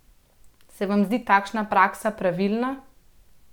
Se vam zdi takšna praksa pravilna?